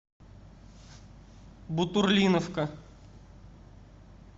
бутурлиновка